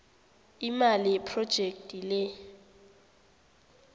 imali yephrojekhthi le